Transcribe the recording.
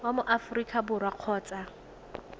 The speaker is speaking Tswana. wa mo aforika borwa kgotsa